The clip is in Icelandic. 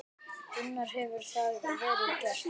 Gunnar: Hefur það verið gert?